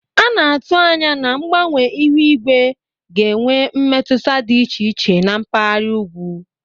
A na-atụ anya na mgbanwe ihu igwe ga-enwe mmetụta dị iche iche na mpaghara ugwu.